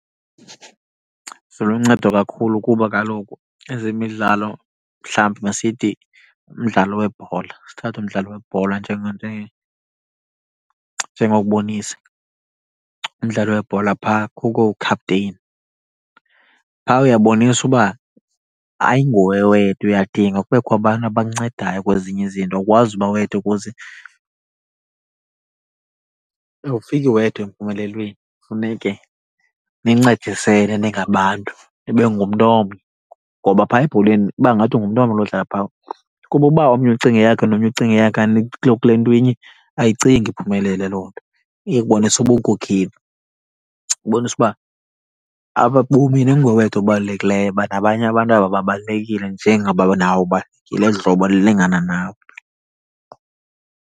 Ziluncedo kakhulu kuba kaloku ezemidlalo, mhlawumbi masithi umdlalo webhola, sithathe umdlalo webhola njengokubonisa. Umdlalo webhola phaa kukho ukhapteyini. Phaa uyaboniswa uba ayinguwe wedwa, uyadinga kubekho abantu abakuncedayo kwezinye izinto, awukwazi uba wedwa ukuze , awufiki wedwa empumelelweni. Funeke nincedisene ningabantu, nibe ngumntu omnye. Ngoba phaya ebholeni iba ngathi ngumntu omnye odlala phaa. Kuba uba omnye ucinga eyakhe nomnye ucinga eyakhe anikho kule nto inye, ayicingi iphumelele loo nto. Ibonisa ubunkokheli. Ibonisa uba apa bobini ayinguwe wedwa obalulekileyo, uba nabanye abantu aba babalulekile njengoba nawe ubalulekile, eli hlobo lilingana nawe.